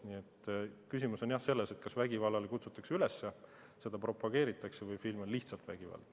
Nii et küsimus on jah selles, kas vägivallale kutsutakse üles ja seda propageeritakse või on film lihtsalt vägivaldne.